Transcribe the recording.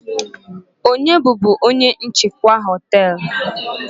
onye bubu onye njikwa họtelu?